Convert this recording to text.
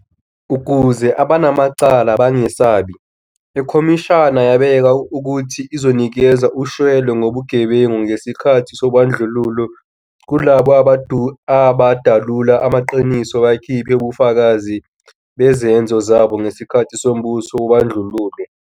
Ukuze abanamacala bangesabi, iKhomishana yabeka ukuthi izonikeza ushwele ngobugebengu ngesikhathi sobandlululo kulabo abadalula amaqiniso bakhiphe ubufakazi bezenzo zabo ngesikhathi sombuso wobandlululo.